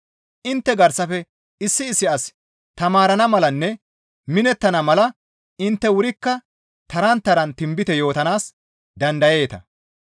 Intte garsafe issi issi asi taamarana malanne minettana mala intte wurikka taran taran tinbite yootanaas dandayeeta.